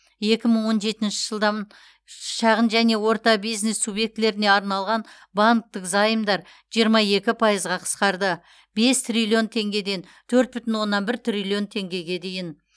екі мың он жетінші жылдан ш шағын және орты бизнес субъектілеріне арналған банктік займдар жиырма екі пайызға қысқарды бес триллион теңгеден төрт бүтін оннан бір триллион теңгеге дейін